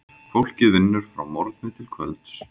Fólkið vinnur frá morgni til kvölds.